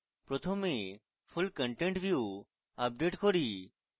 প্রথমে full content view update করি